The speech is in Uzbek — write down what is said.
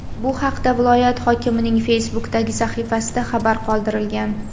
Bu haqda viloyat hokimining Facebook’dagi sahifasida xabar qoldirilgan .